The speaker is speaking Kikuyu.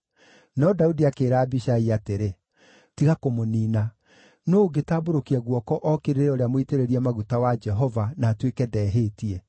No Daudi akĩĩra Abishai atĩrĩ, “Tiga kũmũniina! Nũũ ũngĩtambũrũkia guoko ookĩrĩre ũrĩa mũitĩrĩrie maguta wa Jehova, na atuĩke ndehĩtie?”